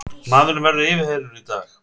Maðurinn verður yfirheyrður í dag